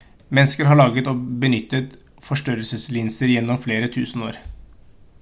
mennesker har laget og benyttet forstørrelseslinser gjennom flere tusen år